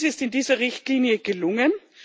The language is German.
Dies ist in dieser Richtlinie gelungen.